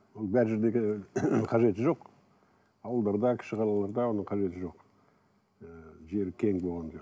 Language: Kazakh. ол бар жердегі қажеті жоқ ауылдарда кіші қалаларда оның қажеті жоқ ііі жері кең болғаннан